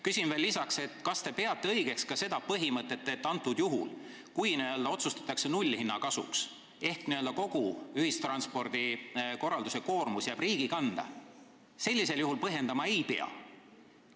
Küsin veel lisaks, kas te peate õigeks ka seda põhimõtet, et juhul, kui otsustatakse nullhinna kasuks ehk kogu ühistranspordikorralduse koormus jääb riigi kanda, seda otsust põhjendama ei pea.